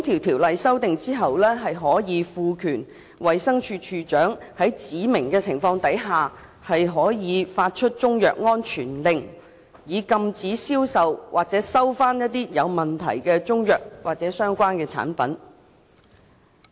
《條例》經修訂後，衞生署署長可獲賦權在指明情況下作出中藥安全令，以禁止銷售或回收有問題的中藥或相關產品。